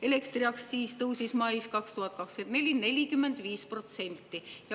Elektriaktsiis tõusis 2024. aasta mais 45%.